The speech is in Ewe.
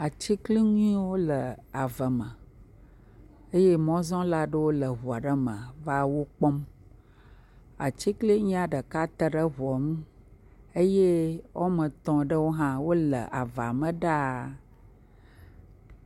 Atiglinyiwo le ave me eye mɔzɔla aɖewo le ŋua ɖe me va wo kpɔm, atiglinyia ɖeka te ɖe ŋua ŋu eye woame etɔ̃ aɖewo hã wole avea me ɖaa.